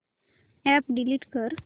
app delete कर